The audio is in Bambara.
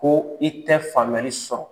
Ko i tɛ famuyali sɔrɔ